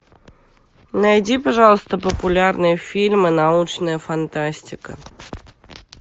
найди пожалуйста популярные фильмы научная фантастика